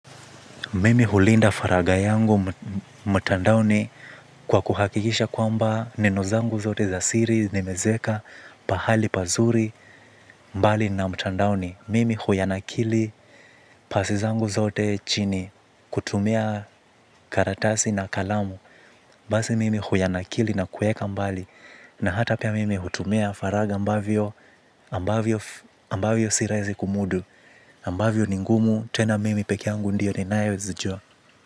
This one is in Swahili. Mimi hulinda faraga yangu mtandaoni kwa kuhakikisha kwamba nenozangu zote za siri, nimezeka, pahali pazuri, mbali na mtandaoni. Mimi huyanakili pasi zangu zote chini kutumia karatasi na kalamu. Basi mimi huyanakili na kuweka mbali na hata pia mimi hutumia faraga ambavyo si rahizi kumudu. Ambavyo ni ngumu tena mimi peke yangu ndiyo ninayo zijua.